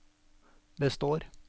består